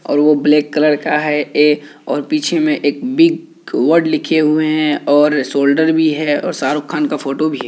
और वो black colour का है ये और एक पीछे में एक बिग वर्ड लिखे हुए हैं और शोल्डर भी है और शाहरुख़ खान का फोटो भी --